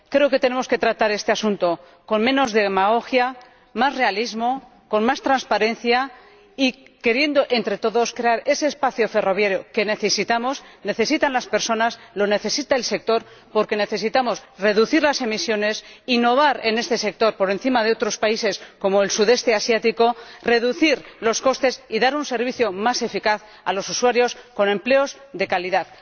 Creo que tenemos que tratar este asunto con menos demagogia, más realismo, más transparencia y queriendo entre todos crear ese espacio ferroviario que necesitan las personas y el sector, porque necesitamos reducir las emisiones, innovar en este sector por encima de otros países como los del sudeste asiático, reducir los costes y dar un servicio más eficaz a los usuarios, con empleos de calidad.